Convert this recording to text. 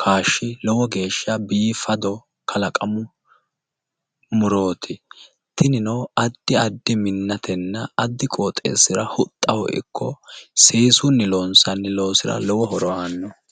kaashshi lowo geeshsha biifado kalaqamu murooti. Tinino addi addi minnatenna addi qooxeessira huxxaho ikko seesunni loonsanni loosira lowo horo aanno.